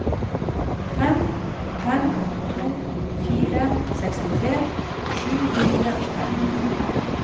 fem fem to fire sekstitre sju hundre og femten